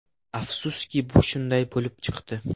Afsuski, bu shunday bo‘lib chiqdi”.